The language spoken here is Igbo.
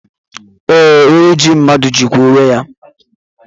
Ee, onye ji mmadụ jikwa onwe ya